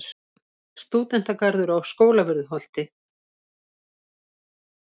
Stúdentagarður á Skólavörðuholti.